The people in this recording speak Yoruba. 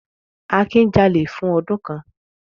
Akin jalè fún ọdún kan.